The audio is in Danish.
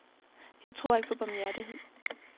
Jeg tror ikke på barmhjertighed.